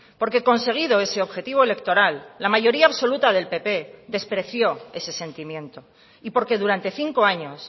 porque conseguido ese objetivo electoral la mayoría absoluta del pp despreció ese sentimiento y porque durante cinco años